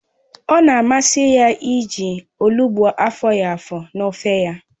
Ọ na-amasị ya iji olugbụ afọghi afọ n'ofe ya